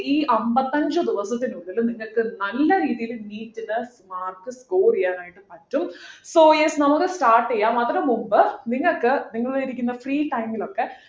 ഈ അമ്പത്തഞ്ചു ദിവസത്തിനുള്ളിൽ നിങ്ങക്ക് നല്ല രീതിയില് NEET ലു mark score ചെയ്യാനായിട്ട് പറ്റും so yes നമുക്ക് start ചെയ്യാം അതിനു മുൻപ് നിങ്ങൾക്ക് നിങ്ങളിരിക്കുന്ന free time ൽ ഒക്കെ